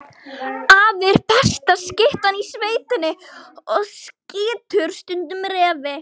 Afi er besta skyttan í sveitinni og skýtur stundum refi.